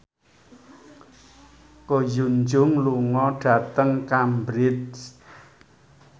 Ko Hyun Jung lunga dhateng Cambridge